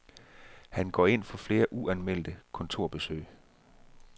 Han går ind for flere uanmeldte kontorbesøg.